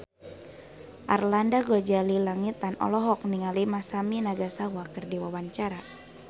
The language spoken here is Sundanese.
Arlanda Ghazali Langitan olohok ningali Masami Nagasawa keur diwawancara